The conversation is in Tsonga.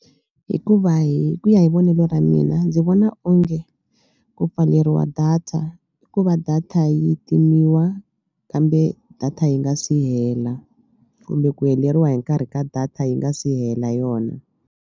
Hikuva hi ku ya hi vonelo ra mina ndzi vona onge ku pfaleriwa data i ku va data yi timiwa kambe data yi nga si hela kumbe ku heleriwa hi nkarhi ka data yi nga si hela yona.